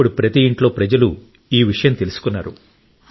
ఇప్పుడు ప్రతి ఇంట్లో ప్రజలు ఈ విషయం తెలుసుకున్నారు